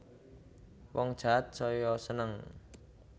Wong jahat saya seneng